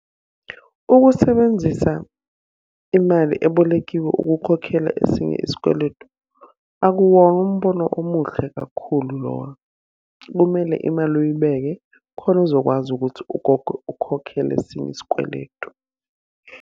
Ukusebenzisa imali ebolekiwe ukukhokhela esinye isikweletu akuwona umbono omuhle kakhulu lowo. Kumele imali uyibeke, khona uzokwazi ukuthi ukhokhele esinye isikweletu.